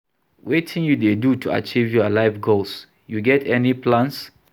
Wetin you dey do to achieve your life goals, you get any plans?